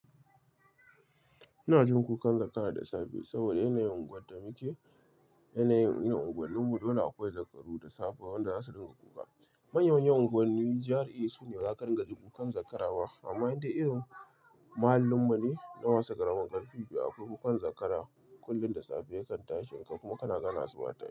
Ina jin kukan zakara da safe saboda yanayin unguwar da muke, yanayin irin unguwarmu dole akwai zakaru da safe wanda za su dinga kuka. Manyan unguwannin GRA su ne waƙar dinga ji kukan zakarawa amma inda irin muhallinmu ne, na masu ƙaramin ƙarfi, bai akwai kukan zakara. Kullum da safe ya kan tashin ka kuma ka na gane asuba ta yi.